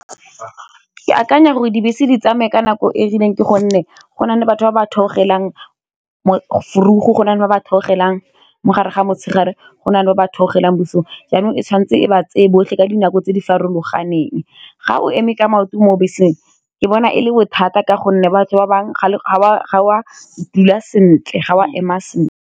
Ke akanya gore dibese di tsamaye ka nako e rileng ke gonne go na le batho ba ba theogelang vroeg go na le ba ba theogelang mo gare ga motshegare go nale ba ba theogelang bosigo jaanong e tshwanetse e ba tseye botlhe ka dinako tse di farologaneng, ga o eme ka maoto mo beseng ke bona e le bothata ka gonne batho ba bangwe ga o a dula sentle.